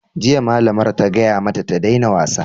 Jiya, malamar ta gaya mata ta daina wasa!